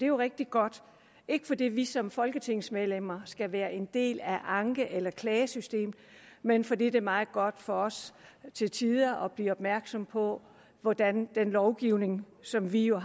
jo rigtig godt ikke fordi vi som folketingsmedlemmer skal være en del af anke eller klagesystemet men fordi det er meget godt for os til tider at blive gjort opmærksom på hvordan den lovgivning som vi jo